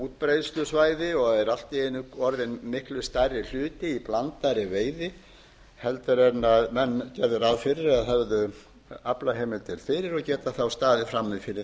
útbreiðslusvæði og eru allt í einu orðin miklu stærri hluti í blandaðri veiði heldur en menn gerðu ráð fyrir eða höfðu aflaheimildir fyrir og geta þá staðið frammi fyrir